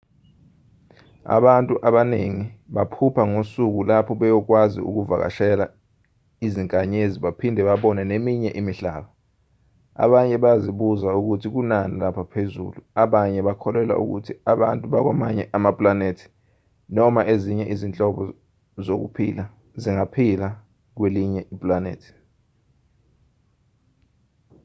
abantu abaningi baphupha ngosuku lapho beyokwazi ukuvakashela izinkanyezi baphinde babone neminye imihlaba abanye bayazibuza ukuthi kunani lapha phezulu abanye bakholelwa ukuthi abantu bakwamanye amapulanethi noma ezinye izinhlobo zokuphila zingaphila kwelinye ipulanethi